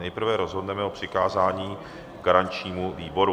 Nejprve rozhodneme o přikázání garančnímu výboru.